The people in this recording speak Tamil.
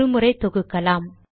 ஒரு முறை தொகுக்கலாம்